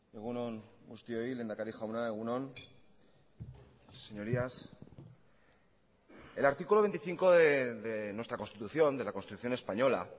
egun on guztioi lehendakari jauna egun on señorías el artículo veinticinco de nuestra constitución de la constitución española